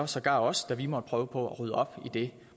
sågar os da vi måtte prøve på at rydde op i det